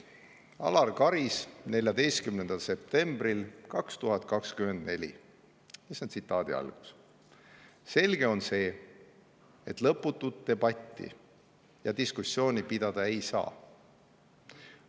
Alar Karis ütles 14. septembril 2024 nii: "Selge on see, et lõputut debatti ja diskussiooni pidada ei saa.